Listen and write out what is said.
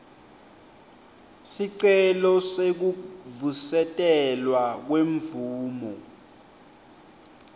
sicelo sekuvusetelwa kwemvumo